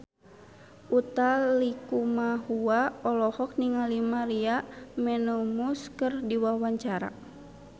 Utha Likumahua olohok ningali Maria Menounos keur diwawancara